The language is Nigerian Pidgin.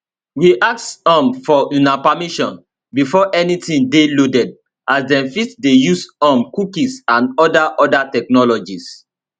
we ask um for una permission before anytin dey loaded as dem fit dey use um cookies and oda oda technologies